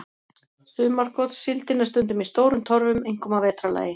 Sumargotssíldin er stundum í stórum torfum, einkum að vetrarlagi.